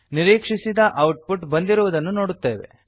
ನಿರೀಕ್ಷಿಸಿದ output ಬಂದಿರುವುದನ್ನು ನೋಡುತ್ತೇವೆ